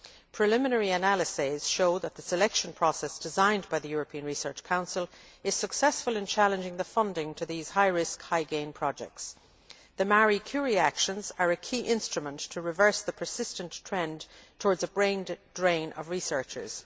Preliminary analyses show that the selection process designed by the European Research Council is successful in challenging the funding to these high risk, high gain projects. The Marie Curie actions are a key instrument to reverse the persistent trend towards a brain drain of researchers.